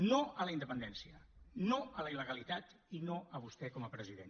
no a la independència no a la il·legalitat i no a vostè com a president